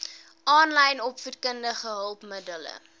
aanlyn opvoedkundige hulpmiddele